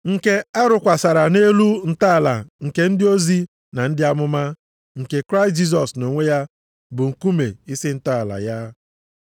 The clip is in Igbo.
nke a rụkwasara nʼelu ntọala nke ndị ozi na ndị amụma, nke Kraịst Jisọs nʼonwe ya bụ nkume isi ntọala ya.